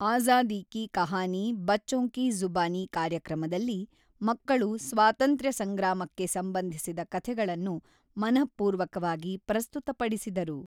ಅಜಾದಿ ಕಿ ಕಹಾನಿ ಬಚ್ಚೊಂಕಿ ಜುಬಾನಿ ಕಾರ್ಯಕ್ರಮದಲ್ಲಿ ಮಕ್ಕಳು ಸ್ವಾತಂತ್ರ್ಯ ಸಂಗ್ರಾಮಕ್ಕೆ ಸಂಬಂಧಿಸಿದ ಕಥೆಗಳನ್ನು ಮನಃಪೂರ್ವಕವಾಗಿ ಪ್ರಸ್ತುತಪಡಿಸಿದರು.